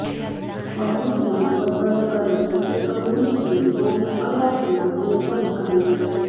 commissioner પસંદ કર્યા એક ભૂલથી ચોવીસ કલાકમાં બે પદ ખાલી